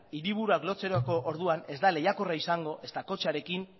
hiriburuak lotzeko orduan ez da lehiakorra izango ezta kotxearekin